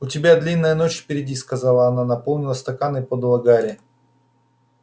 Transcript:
у тебя длинная ночь впереди сказала она наполнила стакан и подала гарри